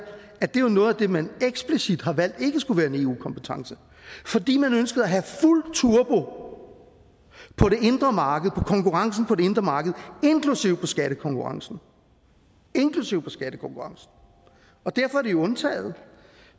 at det jo er noget af det man eksplicit har valgt ikke skulle være en eu kompetence fordi man ønskede at have fuld turbo på det indre marked på konkurrencen på det indre marked inklusive på skattekonkurrencen inklusive på skattekonkurrencen og derfor er det jo undtaget